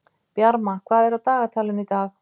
Bjarma, hvað er á dagatalinu í dag?